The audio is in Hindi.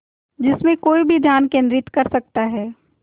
जिसमें कोई भी ध्यान केंद्रित कर सकता है